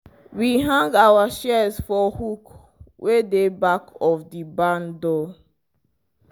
we hang our shears for hook wey dey back of the barn door.